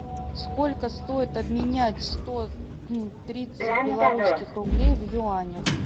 сколько стоит обменять сто тридцать белорусских рублей в юанях